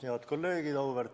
Head kolleegid!